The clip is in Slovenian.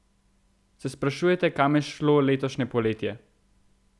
Se sprašujete, kam je šlo letošnje poletje?